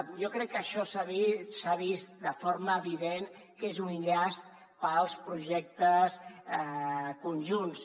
jo crec que això s’ha vist de forma evident que és un llast per als projectes conjunts